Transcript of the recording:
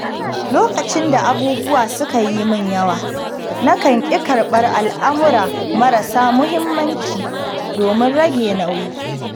Lokacin da abubuwa suka yi min yawa, nakan ƙi karɓar al’amura marasa muhimmanci domin rage nauyi.